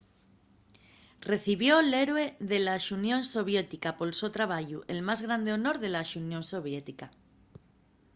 recibió'l héroe de la xunión soviética” pol so trabayu el más grande honor de la xunión soviética